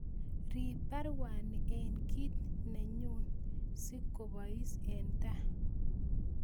Rip baruani en kit neyun si kopois en taa